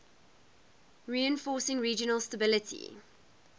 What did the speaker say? reinforcing regional stability